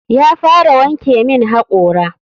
Ya fara wanke min hakora.